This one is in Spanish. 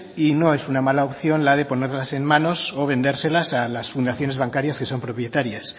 y no es una mala opción la de ponerlas en manos o vendérselas a las fundaciones bancarias que son propietarias